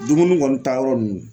Dumuni kɔni ta yɔrɔ nunnu.